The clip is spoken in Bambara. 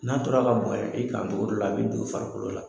N'a tora ka bonyan i kan cogo dɔ la, a bɛ don i farikolo la.